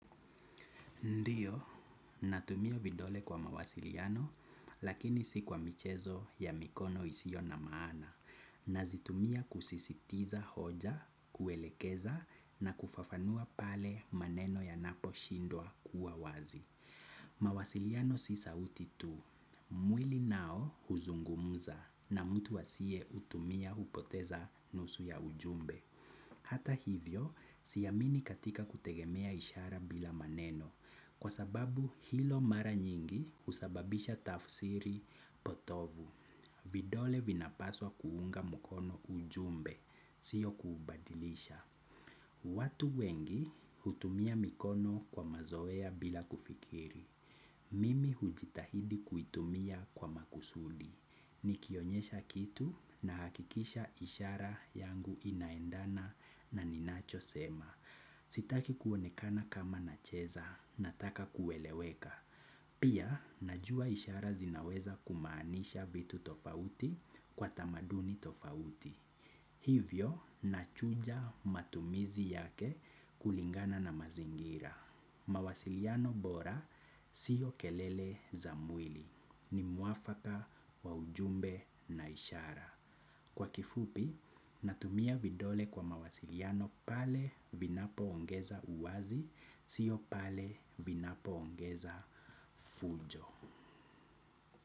Ndiyo, natumia vidole kwa mawasiliano, lakini si kwa michezo ya mikono isiyo na maana. Nazitumia kusisitiza hoja, kuelekeza, na kufafanua pale maneno ya napo shindwa kuwa wazi. Mawasiliano si sauti tu. Mwili nao huzungumuza, na mtu asiye utumia hupoteza nusu ya ujumbe. Hata hivyo, siyamini katika kutegemea ishara bila maneno. Kwa sababu hilo mara nyingi husababisha tafsiri potovu, vidole vinapaswa kuunga mukono ujumbe, siyo kubadilisha. Watu wengi hutumia mikono kwa mazoea bila kufikiri, mimi hujitahidi kuitumia kwa makusudi. Nikionyesha kitu na hakikisha ishara yangu inaendana na ninacho sema. Sitaki kuonekana kama na cheza, nataka kueleweka. Pia, najua ishara zinaweza kumaanisha vitu tofauti kwa tamaduni tofauti. Hivyo, nachuja matumizi yake kulingana na mazingira. Mawasiliano bora siyo kelele za mwili. Ni mwafaka kwa ujumbe na ishara. Kwa kifupi, natumia vidole kwa mawasiliano pale vinapo ongeza uwazi, sio pale vinapo ongeza fujo.